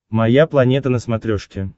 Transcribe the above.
моя планета на смотрешке